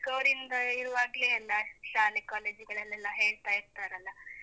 ಚಿಕ್ಕವರಿಂದ ಇರುವಾಗ್ಲೇ ಅಲ್ಲಾ ಶಾಲೆ college ಗಳಲ್ಲೆಲ್ಲಾ ಹೇಳ್ತಾ ಇರ್ತಾರಲ್ಲ.